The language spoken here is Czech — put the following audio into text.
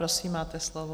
Prosím, máte slovo.